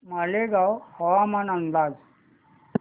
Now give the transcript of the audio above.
मालेगाव हवामान अंदाज